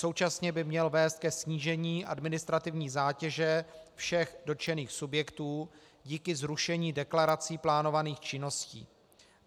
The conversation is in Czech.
Současně by měl vést ke snížení administrativní zátěže všech dotčených subjektů díky zrušení deklarací plánovaných činností.